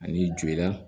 Ani joli la